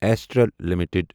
astral limited